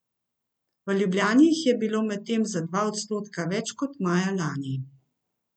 V Ljubljani jih je bilo medtem za dva odstotka več kot maja lani.